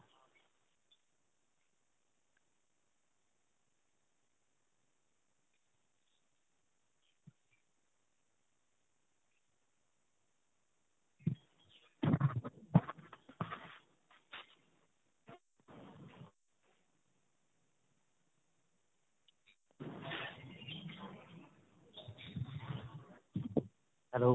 hello.